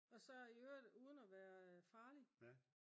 og så i øvrigt uden at være farlig